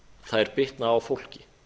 þær bitna á fólki